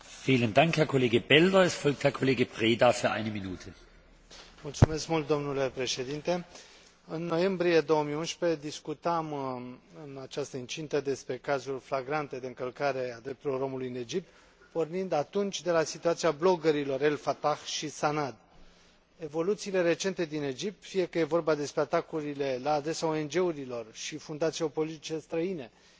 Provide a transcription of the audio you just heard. În noiembrie 2011, discutam, în această incintă, despre cazuri flagrante de încălcare a drepturilor omului în Egipt, pornind atunci de la situația bloggerilor El Fattah și Sanad. Evoluțiile recente din Egipt, fie că e vorba despre atacurile la adresa ONG urilor și fundațiilor politice străine, fie că e vorba despre masacrul intervenit în urma meciului de fotbal de la Port Said din 1 februarie, ne obligă, iată, să